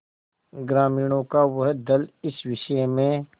ग्रामीणों का वह दल इस विषय में